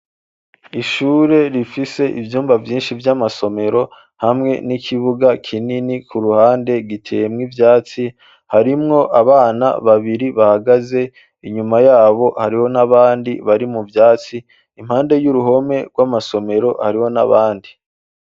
Ishure rifise ivyumba vyinshi vy'amasomero hamwe n'ikibuga kinini ku ruhande giteyemwo ivyatsi, harimwo abana babiri bahagaze, inyuma yabo hariho n'abandi bari mu vyatsi, impande y'uruhome rw'amasomero hariho n'abandi.